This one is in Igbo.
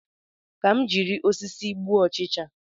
Ka m jiri osisi gbuo ọchịcha